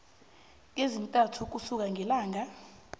ezintathu ukusuka ngelanga